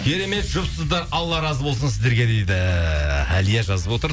керемет жұпсыздар алла разы болсын сіздерге дейді әлия жазып отыр